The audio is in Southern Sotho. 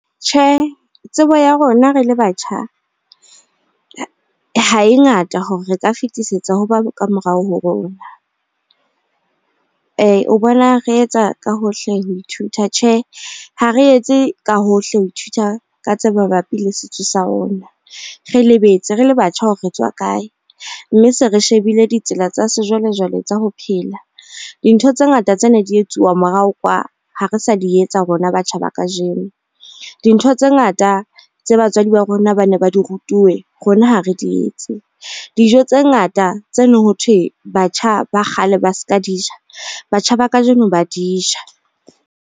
Tjhe, tsebo ya rona rele batjha ha e ngata hore re ka fetisetsa ho ba kamorao ho rona. O bona re etsa ka hohle ho ithuta? Tjhe, ha re etse ka hohle ho ithuta ka tse mabapi le setso sa rona. Re lebetse re le batjha hore re tswa kae mme se re shebile ditsela tsa sejwalejwale tsa ho phela. Dintho tse ngata tse neng di etsuwa morao kwa ha re sa di etsa rona batjha ba kajeno. Dintho tse ngata tse batswadi ba rona ba ne ba di rutuwe, rona ha re di etse. Dijo tse ngata tse neng ho thwe batjha ba kgale ba ska di ja, batjha ba kajeno ba di ja.